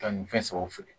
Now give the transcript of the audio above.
Taa nin fɛn sabaw feere